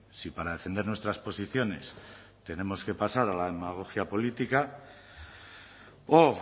si para defender nuestras posiciones tenemos que pasar a la demagogia política o